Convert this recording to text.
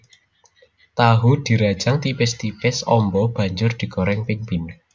Tahu dirajang tipis tipis amba banjur digoreng ping pindho